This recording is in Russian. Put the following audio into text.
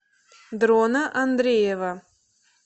дрона андреева